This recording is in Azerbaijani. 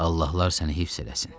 Allahlar səni hifz eləsin.